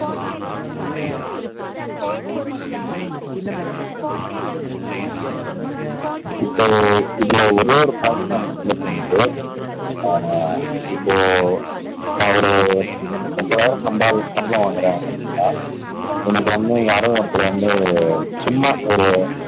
இப்போ இப்போ ஒரேயொரு பாயிண்ட் தான் சொல்ல தோணுது ஆஹ் இப்போ நான் ஒரு முப்பதாயிரம் சம்பளம் வாங்குறேன் அப்படின்னா எனக்கு வந்து யாரோ ஒருத்தர் வந்து சும்மா ஒரு